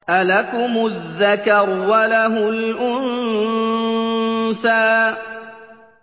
أَلَكُمُ الذَّكَرُ وَلَهُ الْأُنثَىٰ